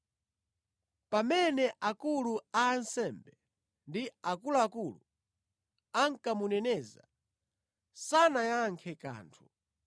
Pamene akulu a ansembe ndi akuluakulu ankamuneneza, sanayankhe kanthu.